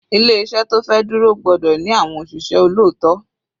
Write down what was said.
Ilé iṣẹ́ tó fẹ́ dúró gbọ́dọ̀ ní àwọn òṣìṣẹ́ olóòótọ́.